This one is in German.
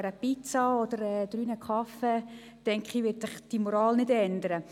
Wegen einer Pizza oder drei Kaffees wird sich die Moral nicht ändern.